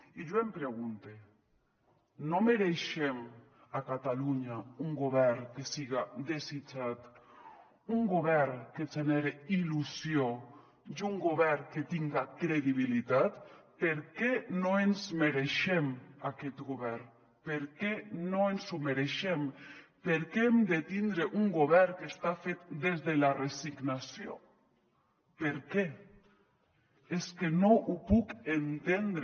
i jo em pregunte no mereixem a catalunya un govern que siga desitjat un govern que genere il·lusió i un govern que tinga credibilitat per què no ens mereixem aquest govern per què no ens ho mereixem per què hem de tindre un govern que està fet des de la resignació per què és que no ho puc entendre